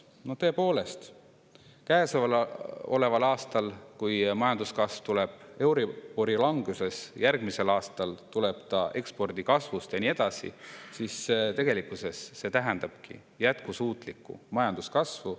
No tõepoolest, käesoleval aastal, kui majanduskasv tuleb euribori langusest, järgmisel aastal ekspordi kasvust ja nii edasi, siis tegelikkuses see tähendabki jätkusuutlikku majanduskasvu.